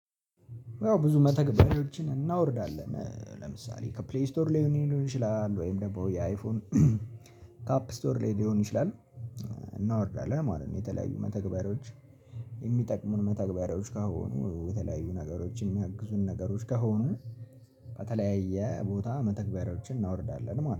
ያው ብዙ መተግበሪያዎችን እናወርዳለን ለምሳሌ ከፕሌይ ስቶር ላይ ሊሆን ይችላል ወይም ደግሞ የአይፎን ካፕ ስቶር ላይ ሊሆን ይችላል እናወርዳለን ማለት ነው የተለያዩ መተግበሪያዎች የሚጠቅሙን መተግበሮች ከሆኑ የተለያዩ ነገሮችን የሚያግዙን ነገሮች ከሆኑ በተለያየ ቦታ መተግበሪያዎችን እናወርዳለን ማለት ነው።